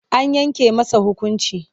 An yanke masa hukunci.